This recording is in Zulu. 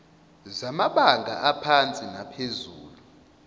zamabanga aphansi naphezulu